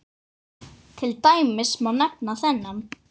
Til dæmis má nefna þennan